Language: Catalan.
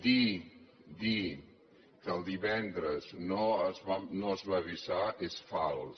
dir que el divendres no es va avisar és fals